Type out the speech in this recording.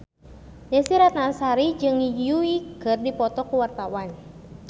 Desy Ratnasari jeung Yui keur dipoto ku wartawan